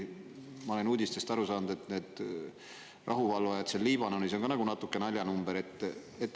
Ma olen uudistest aru saanud, et rahuvalvajad seal Liibanonis on natuke nagu naljanumber.